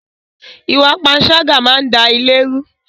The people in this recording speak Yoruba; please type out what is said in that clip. Ìwà panṣágà máa ń da ilé rú